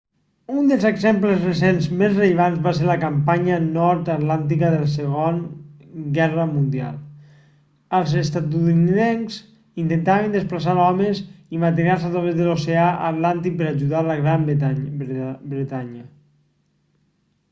un dels exemples recents més rellevants va ser la campanya nord-atlàntica de la segona guerra mundial els estatunidencs intentaven desplaçar homes i materials a través de l'oceà atlàntic per ajudar la gran bretanya